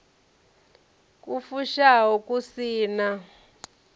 ku fushaho ku si na